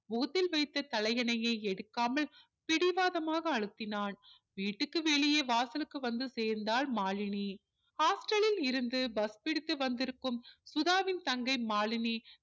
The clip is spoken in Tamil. முகத்தில் வைத்த தலையணையை எடுக்காமல் பிடிவாதமாக அழுத்தினான் வீட்டுக்கு வெளியே வாசலுக்கு வந்து சேர்ந்தாள் மாலினி hostel லில் இருந்து bus பிடித்து வந்திருக்கும் சுதாவின் தங்கை மாலினி